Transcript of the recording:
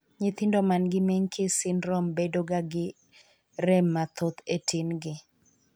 Nyithindo ma gi menkes syndrome bedo ga gi re mathoth e tin gi.